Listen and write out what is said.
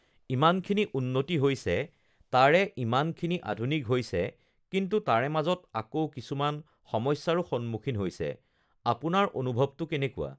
ইমানখিনি উন্নতি হৈছে তাৰে ইমানখিনি আধুনিক হৈছে কিন্তু তাৰে মাজত আকৌ কিছুমান সমস্যাৰো সন্মুখীন হৈছে, আপোনাৰ অনুভৱটো কেনেকুৱা?